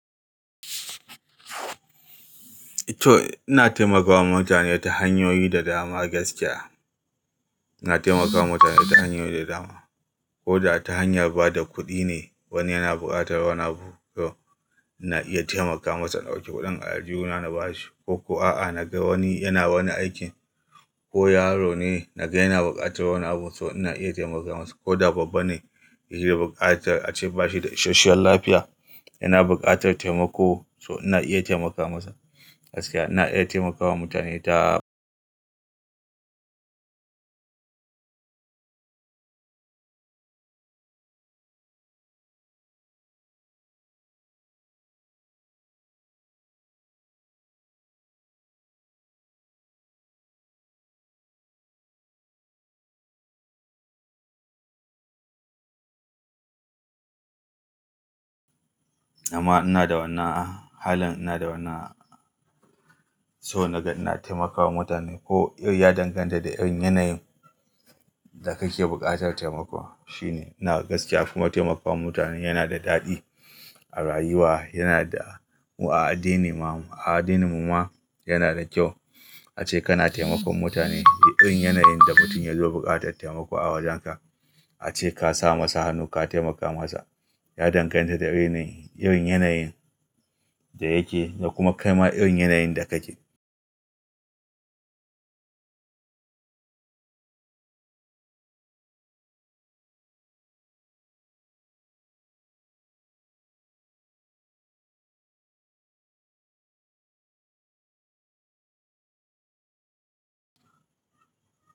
To, ina taimakama mutane ta hanyoyi da dama gaskiya. Ina taimakawa mutane ta hanyoyi da dama. Ko da ta hanyar ba da kuɗi ne wani yana buƙatar wani abu, to ina iya taimaka masa na ɗauki kuɗin a aljihuna na ba shi. Ko ko a'a na ga wani yana wani aiki ko yaro ne na ga yana buƙatar wani abu, so ina iya taimaka masa. Ko da babba ne yake buƙatar ace ba shi da isheshen lafiya, yana buƙatar taimako so ina iya taimakawa masa. Gaskiya ina iya taimakawa mutane ta amma ina da wannan halin ina da wani so naga ina taimakawa mutane ko ya danganta da irin yanayin da kake buƙatar taimako. Shine. Ina gaskiya kuma taimakawa mutane yana da daɗi a rayuwa, yana da-- a addini ma, a addininmu ma yana da kyau. Ace kana taimakon mutane, duk irin yanayin da mutun yazo bukatar taimaka a wajenka ace ka sa masa hannu, ka taimaka masa ya danganta da irin yanayin da yake da kuma kaima irin yanayin da kake.